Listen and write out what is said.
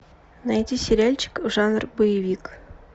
найди сериальчик жанр боевик